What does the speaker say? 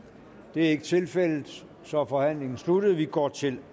det er ikke tilfældet så er forhandlingen sluttet og vi går til